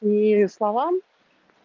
и словам